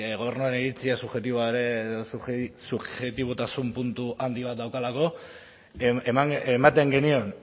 gobernuaren iritzia subjektibotasun puntu handi bat daukalako ematen genion